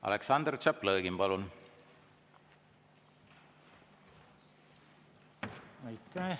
Aleksandr Tšaplõgin, palun!